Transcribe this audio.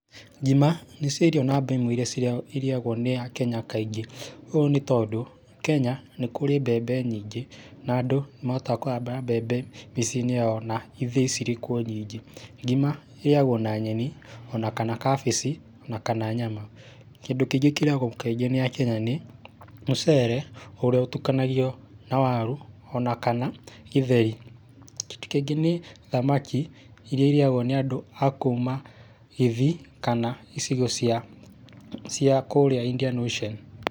Ngima, nĩcio irio namba ĩmwe iria cirĩa, irĩagwo nĩ Akenya kaingĩ, ũũ nĩ tondũ Kenya nĩ kũrĩ mbembe nyingĩ na andũ nĩ mahotaga kũhanda mbembe mĩciĩ-inĩ yao na ithĩi cirĩ kuo nyingĩ. Ngima ĩrĩagwo na nyeni, o na kana kabici, o na kana nyama. Kĩndũ kĩngĩ kĩrĩagwo kaingĩ nĩ Akenya nĩ mũcere, ũrĩa ũtukanagio na waru o na kana gĩtheri. Kĩndũ kĩngĩ nĩ thamaki iria irĩagwo nĩ andũ a kuma Gĩthii kana icigo cia kũrĩa Indian Ocean.